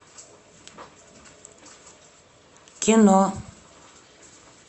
кино